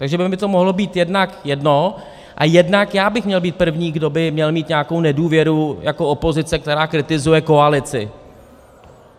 Takže by mi to mohlo být jednak jedno a jednak já bych měl být první, kdo by měl mít nějakou nedůvěru jako opozice, která kritizuje koalici.